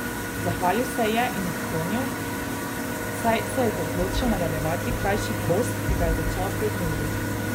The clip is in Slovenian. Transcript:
Zahvalil se ji je in odklonil, saj se je odločil nadaljevati krajši post, ki ga je začel pred dnevi.